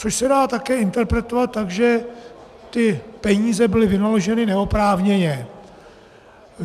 Což se dá také interpretovat tak, že ty peníze byly vynaloženy neoprávněně.